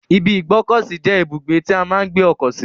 ibi ìgbọ́kọ̀sí je ibugbe ti a maa n gbe oko si.